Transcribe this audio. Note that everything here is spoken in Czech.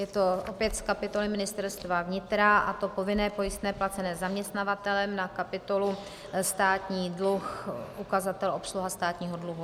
Je to opět z kapitoly Ministerstva vnitra, a to povinné pojistné placené zaměstnavatelem na kapitolu státní dluh, ukazatel obsluha státního dluhu.